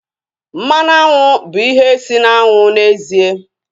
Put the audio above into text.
Mmanụ aṅụ bụ ihe si na aṅụ n'ezie